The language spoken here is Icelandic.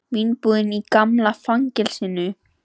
Vínbúð í gamla fangelsinu